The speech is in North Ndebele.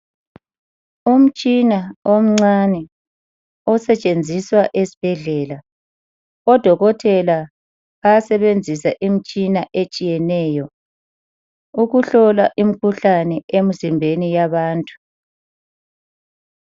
Umtshina omncane osetshenziswa esibhedlela. Odokotela bayasebenzisa imitshina etshiyeneyo ukuhlola imikhuhlane emizimbeni yabantu.